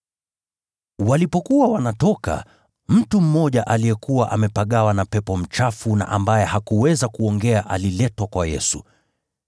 Walipokuwa wanatoka, mtu mmoja aliyekuwa amepagawa na pepo mchafu na ambaye hakuweza kuongea aliletwa kwa Yesu.